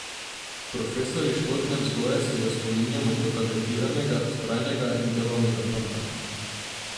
Profesorji športne vzgoje se ga spominjajo kot talentiranega, vztrajnega in delavnega fanta.